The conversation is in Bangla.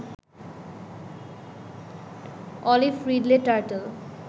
olive ridley turtle